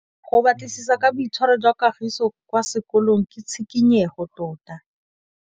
Go batlisisa ka boitshwaro jwa Kagiso kwa sekolong ke tshikinyêgô tota.